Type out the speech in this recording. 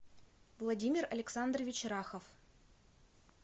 владимир александрович рахов